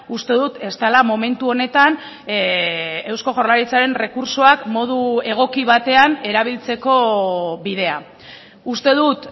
uste dut ez dela momentu honetan eusko jaurlaritzaren errekurtsoak modu egoki batean erabiltzeko bidea uste dut